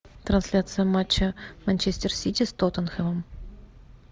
трансляция матча манчестер сити с тоттенхэмом